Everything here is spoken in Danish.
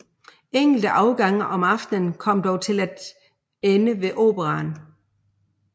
Enkelte afgange om aftenen kom dog til at ende ved Operaen